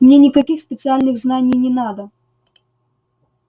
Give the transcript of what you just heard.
мне никаких специальных знаний не надо